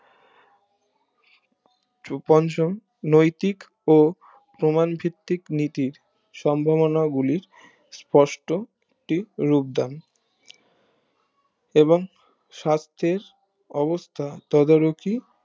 টুপঞ্চম নৈতিক ও প্রমান ভিত্তিক নীতির সম্ভবনা গুলির স্পষ্ট টি রূপ দান এবং সাস্থের অবস্থা তদ্ৰুকি